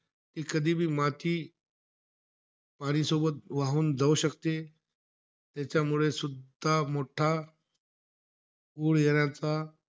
ते कधीबी माती पाणी सोबत वाहून जाऊ शकते. त्याच्यामुळे सुद्धा मोठा पूर येण्याचा,